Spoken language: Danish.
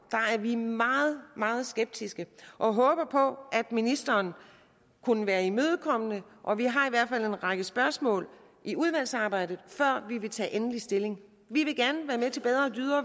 er vi meget meget skeptiske og håber på at ministeren kunne være imødekommende og vi har i hvert fald en række spørgsmål i udvalgsarbejdet før vi vil tage endelig stilling vi